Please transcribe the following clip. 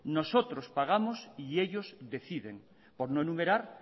nosotros pagamos y ellos deciden por un enumerar